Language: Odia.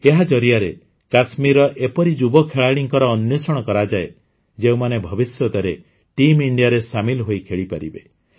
ଏହା ଜରିଆରେ କାଶ୍ମୀରର ଏପରି ଯୁବ ଖେଳାଳିଙ୍କର ଅନ୍ୱେଷଣ କରାଯାଏ ଯେଉଁମାନେ ଭବିଷ୍ୟତରେ ଟିମ୍ ଇଣ୍ଡିଆରେ ସାମିଲ୍ ହୋଇ ଖେଳିପାରିବେ